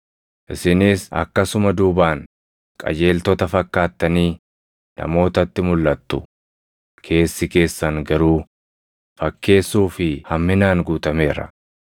Isinis akkasuma duubaan qajeeltota fakkaattanii namootatti mulʼattu; keessi keessan garuu fakkeessuu fi hamminaan guutameera.